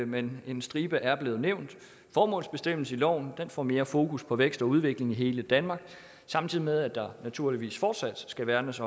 men en stribe er blevet nævnt formålsbestemmelsen i loven får mere fokus på vækst og udvikling i hele danmark samtidig med at der naturligvis fortsat skal værnes